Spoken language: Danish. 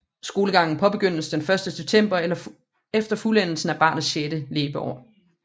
Skolegangen påbegyndes den første september efter fuldendelsen af barnets sjette leveår